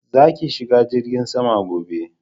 Za ki shiga jirgin sama gobe